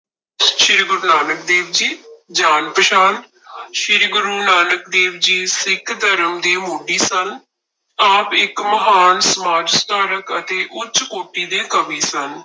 ਸ੍ਰੀ ਗੁਰੂ ਨਾਨਕ ਦੇਵ ਜੀ ਜਾਣ ਪਛਾਣ ਸ੍ਰੀ ਗੁਰੂ ਨਾਨਕ ਦੇਵ ਜੀ ਸਿੱਖ ਧਰਮ ਦੇ ਮੋਢੀ ਸਨ, ਆਪ ਇੱਕ ਮਹਾਨ ਸਮਾਜ ਸੁਧਾਰਕ ਅਤੇ ਉੱਚ ਕੋਟੀ ਦੇ ਕਵੀ ਸਨ।